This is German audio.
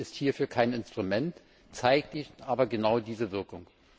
Handel ist hierfür kein Instrument, zeitigt aber genau diese Wirkung.